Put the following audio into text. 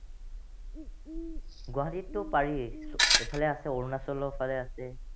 গুৱাহটীতটো পাৰিয়েই। এইফালে আছে অৰুনাচলৰ ফালে আছে।